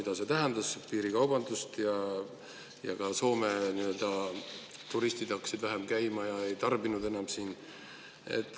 piirikaubandus ja Soome turistid hakkasid vähem käima, ei tarbinud enam siin.